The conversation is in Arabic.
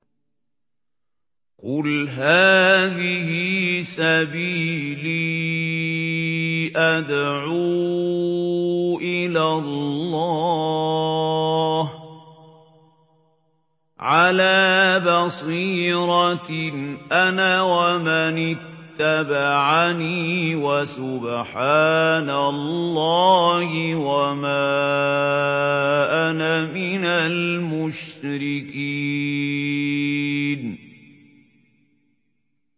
قُلْ هَٰذِهِ سَبِيلِي أَدْعُو إِلَى اللَّهِ ۚ عَلَىٰ بَصِيرَةٍ أَنَا وَمَنِ اتَّبَعَنِي ۖ وَسُبْحَانَ اللَّهِ وَمَا أَنَا مِنَ الْمُشْرِكِينَ